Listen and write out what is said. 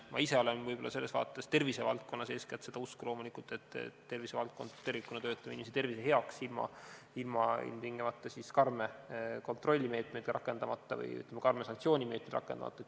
Ma ise olen võib-olla selles vaates, eeskätt tervisevaldkonnas loomulikult seda usku, et tervisevaldkond tervikuna töötab inimese tervise heaks ilma ilmtingimata karme kontrollimeetmeid rakendamata või, ütleme, santsioonimeetmeid rakendamata.